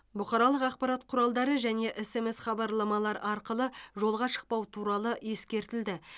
бұқаралық ақпарат құралдары және смс хабарламалар арқылы жолға шықпау туралы ескертілді